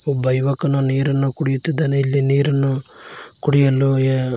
ಒಬ್ಬ ಯುವಕನು ನೀರನ್ನು ಕುಡಿಯುತ್ತಿದ್ದಾನೆ ಇಲ್ಲಿ ನೀರನ್ನು ಕುಡಿಯಲು--